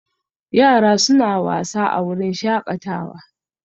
Yara suna wasa a wurin shakatawa